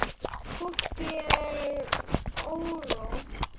Fólki er órótt.